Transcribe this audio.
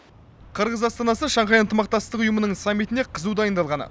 қырғыз астанасы шанхай ынтымақтастық ұйымының саммитіне қызу дайындалғаны